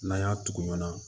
N'an y'a tugu ɲana